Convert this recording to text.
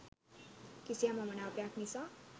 කිසියම් අමනාපයක් නිසා